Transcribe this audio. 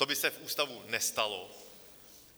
To by se v ústavu nestalo.